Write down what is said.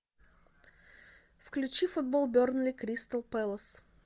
включи футбол бернли кристал пэлас